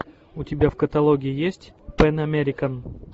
у тебя в каталоге есть пэн американ